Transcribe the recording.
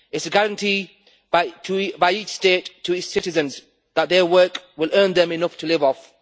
It is a guarantee by each state to its citizens that their work will earn them enough to live off.